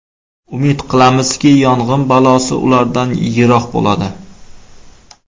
Umid qilamizki, yong‘in balosi ulardan yiroq bo‘ladi.